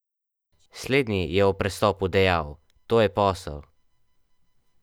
Slednji je ob prestopu dejal: "To je posel.